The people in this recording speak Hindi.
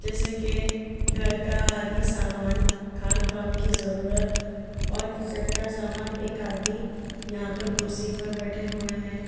जैसे के घर का आदि सामान खान पान की जरूरत और किचन का सामान एक आदमी यहां पर कुर्सी पर बैठे हुए हैं।